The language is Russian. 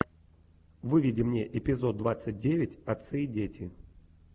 выведи мне эпизод двадцать девять отцы и дети